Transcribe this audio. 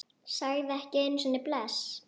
Sagði ekki einu sinni bless.